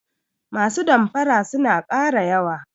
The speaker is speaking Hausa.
Masu damfara suna ƙara yawa.